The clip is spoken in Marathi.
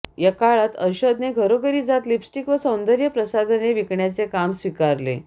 या काळात अर्शदने घरोघरी जात लिपस्टिक व सौंदर्य प्रसाधने विकण्याचे काम स्वीकारले